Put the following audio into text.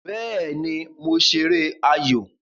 Béè ni mo ṣeré ayò